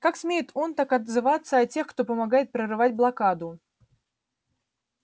как смеет он так отзываться о тех кто помогает прорывать блокаду